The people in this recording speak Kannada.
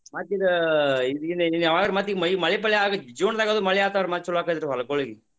ಮತ್ತ ಇದ ಇದನ್ನ ಇನ ಯಾವಾಗ ಮತ್ತ ಈಗ ಮೈ~ ಮಳಿ ಪಳಿ ಆದ್ರ June ದಾಗ ಮಳಿ ಆತ ಅಂದ್ರ ಮತ್ತ ಚಲೋ ಆಕ್ಕೇತ್ರಿ ಹೊಲಗೊಳಿಗ.